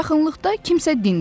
Yaxınlıqda kimsə dindi.